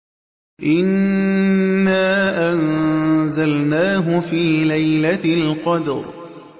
إِنَّا أَنزَلْنَاهُ فِي لَيْلَةِ الْقَدْرِ